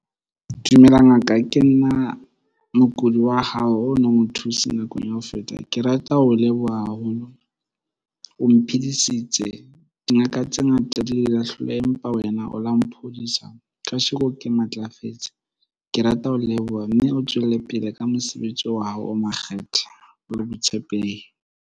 Dumela ngaka. Ke nna mokudi wa hao o no mo thuse nakong ya ho feta. Ke rata ho leboha haholo, o mphidisitseng. Dingaka tse ngata di ile hloleha, empa wena o la mphodisa. Kasheko ke matlafetse. Ke rata ho leboha, mme o tswelle pele ka mosebetsi wa hao o makgethe le boitshepehi.